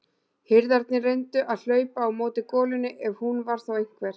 Hirðarnir reyndu að hlaupa á móti golunni ef hún var þá einhver.